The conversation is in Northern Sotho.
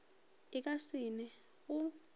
e ka se ne go